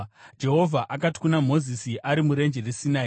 Jehovha akati kuna Mozisi ari murenje reSinai,